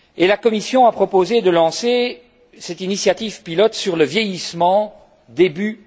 La Commission a d'ailleurs proposé de lancer cette initiative pilote sur le vieillissement début